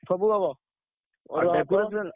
ସବୁ ହବ।